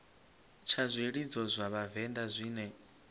tsha zwilidzo zwa vhavenḓa zwine